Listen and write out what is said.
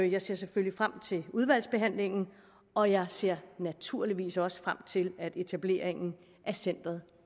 jeg ser selvfølgelig frem til udvalgsbehandlingen og jeg ser naturligvis også frem til at etableringen af centeret